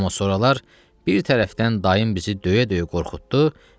Amma sonralar bir tərəfdən dayım bizi döyə-döyə qorxutdu.